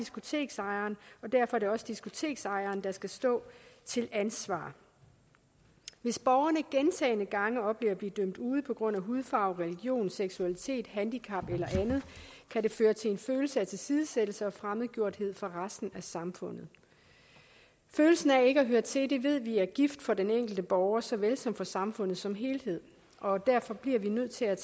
diskoteksejeren og derfor er det også diskoteksejeren der skal stå til ansvar hvis borgerne gentagne gange oplever at blive dømt ude på grund af hudfarve religion seksualitet handicap eller andet kan det føre til en følelse af tilsidesættelse og fremmedgjorthed for resten af samfundet følelsen af ikke at høre til ved vi er gift for den enkelte borger så vel som for samfundet som helhed og derfor bliver vi nødt til at